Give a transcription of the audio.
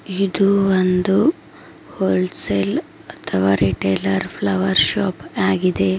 ಇದು ಒಂದು wholesale ಅಥವಾ ರೆಟೈಲರ್ ಫ್ಲವರ್ ಶಾಪ್ ಆಗಿದೆ.